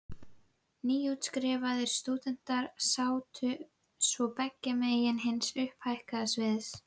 Nýútskrifaðir stúdentar sátu svo beggja megin hins upphækkaða sviðs.